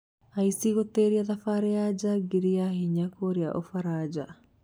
Aici gũtĩria thabari ya jagiri ya hinya kũrĩa ũfaraja